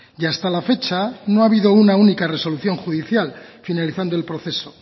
y hasta la fecha no ha habido una única resolución judicial finalizando el proceso